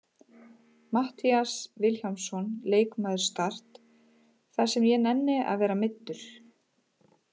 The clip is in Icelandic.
Matthías Vilhjálmsson, leikmaður Start: Það sem ég nenni að vera meiddur!